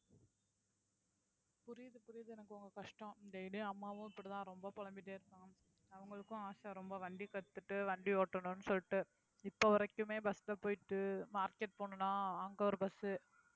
புரியுது புரியுது எனக்கு உங்க கஷ்டம் daily யும், அம்மாவும் இப்படித்தான் ரொம்ப புலம்பிட்டே இருக்காங்க. அவங்களுக்கும் ஆசை ரொம்ப வண்டி கத்துட்டு வண்டி ஓட்டணும்னு சொல்லிட்டு இப்ப வரைக்குமே bus ல போயிட்டு market போகணும்ன்னா, அங்க ஒரு bus